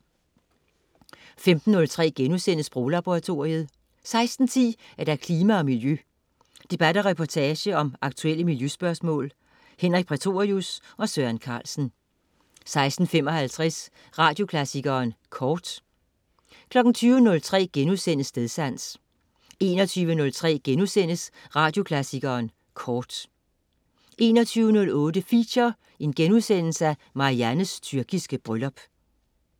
15.03 Sproglaboratoriet* 16.10 Klima og Miljø. Debat og reportage om aktuelle miljøspørgsmål. Henrik Prætorius og Søren Carlsen 16.55 Radioklassikeren Kort 20.03 Stedsans* 21.03 Radioklassikeren Kort* 21.08 Feature: Mariannes tyrkiske bryllup*